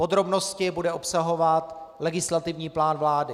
Podrobnosti bude obsahovat legislativní plán vlády.